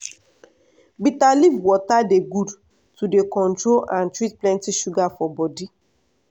bitter leaf water dey good to dey control and treat plenty sugar for body.